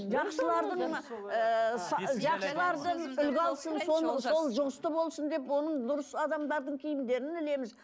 сол жұғысты болсын деп оның дұрыс адамдардың киімдерін ілеміз